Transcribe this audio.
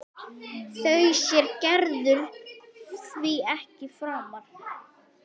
Þorbjörn, vitum við fyllilega hver áhrifin af álitinu eru?